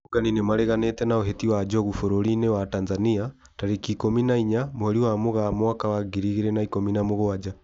Arũrũngani nĩmareganĩte na ũhĩti wa njogu bũrũri-inĩ wa Tanzania tarĩki ikũmi na inya mweri wa mũgaa mwaka wa ngiri igĩri na ikũmi na mũgwanja